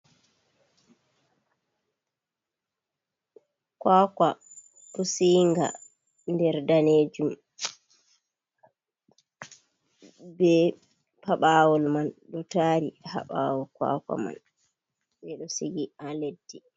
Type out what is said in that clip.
"Kwaakwa" pusiinga nder daneejum bee paɓaawal man ɗo taari ha ɓaawo "kwaaka" man, ɓe ɗo sigi ha leddi.